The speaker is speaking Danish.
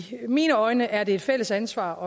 mine øjne er det et fælles ansvar